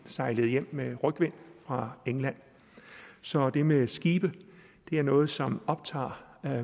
sejlede hjem med rygvind fra england så det med skibe er noget som optager